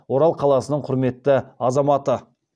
орал қаласының құрметті азаматы